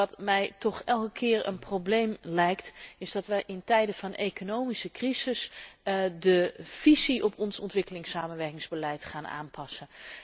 Maar wat mij toch elke keer een probleem lijkt is dat wij in tijden van economische crisis de visie op ons ontwikkelingssamenwerkingsbeleid gaan aanpassen.